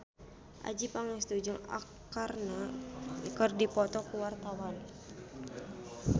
Adjie Pangestu jeung Arkarna keur dipoto ku wartawan